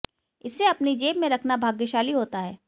इसे अपनी जेब में रखना भाग्यशाली होता है